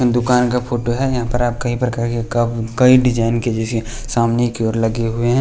दुकान का फोटो है यहाँ पर आप कई प्रकार के क कई डिज़ाइन के जैसे सामने की ओर लगे हुए हैं।